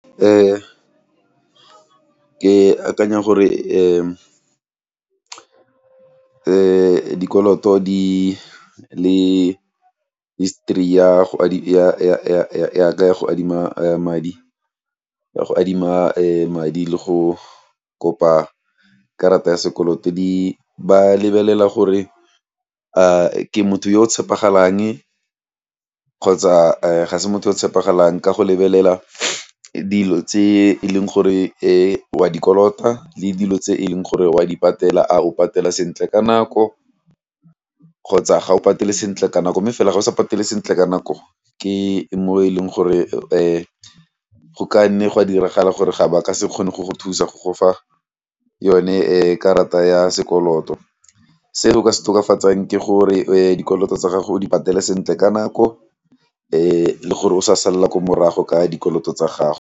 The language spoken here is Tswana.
Ee, ke akanya gore dikoloto di le history ya ka ya go adima madi le go kopa karata ya sekoloto di ba lebelela gore ke motho yo o tshepegalang kgotsa ga se motho yo o tshepegalang ka go lebelela dilo tse e leng gore e wa di kolota le dilo tse e leng gore wa di patela, a o patela sentle ka nako kgotsa ga o patele sentle ka nako mme fela ga o sa patele sentle ka nako ke mo e leng gore go ka nne gwa diragala gore ga ba ka se kgone go go thusa go gofa yone karata ya sekoloto. Se o ka se tokafatsang ke gore dikoloto tsa gago o di patele sentle ka nako le gore o sa salla ko morago ka dikoloto tsa gago.